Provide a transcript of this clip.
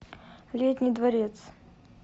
летний дворец